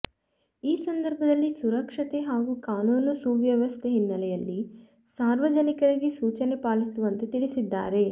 ಈ ಸಂದರ್ಭದಲ್ಲಿ ಸುರಕ್ಷತೆ ಹಾಗೂ ಕಾನೂನು ಸುವ್ಯವಸ್ಥೆ ಹಿನ್ನೆಲೆಯಲ್ಲಿ ಸಾರ್ವಜನಿಕರಿಗೆ ಸೂಚನೆ ಪಾಲಿಸುವಂತೆ ತಿಳಿಸಿದ್ದಾರೆ